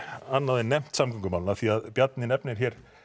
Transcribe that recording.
annað en nefnt samgöngumálin því Bjarni nefnir